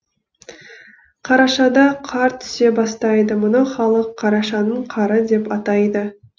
қарашада қар түсе бастайды мұны халық қарашаның қары деп атайды